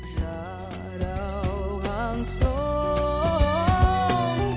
жаралған соң